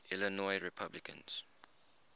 illinois republicans